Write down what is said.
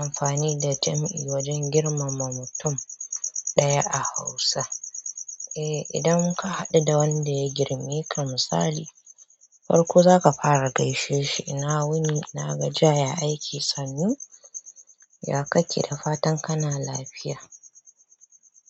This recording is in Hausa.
amfani da jam'i wajen girmama mutum ɗaya a Hausa. Eh idan ka haɗu da wanda ya girmi ka misali farko za ka fara gaishe shi ina wuni ina gajiya ya aiki sannu? Ya kake da fatan kana lafiya.